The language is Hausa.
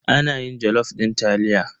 Ana yin jalof din taliya.